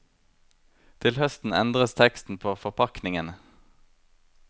Til høsten endres teksten på forpakningene.